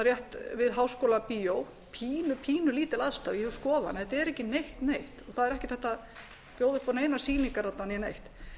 rétt við háskólabíó sínu pínulítil aðstaða ég vil skoða hana þetta er ekki neitt neitt það er ekki hægt að bjóða upp á neinar sýningar þarna né neitt